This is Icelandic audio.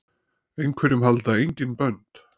Einhverjum halda engin bönd